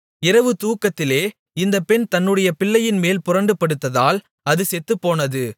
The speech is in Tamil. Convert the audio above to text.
இரவு தூக்கத்திலே இந்த பெண் தன்னுடைய பிள்ளையின்மேல் புரண்டுபடுத்ததால் அது செத்துப்போனது